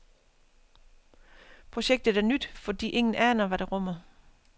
Projektet er nyt, fordi ingen aner, hvad det rummer.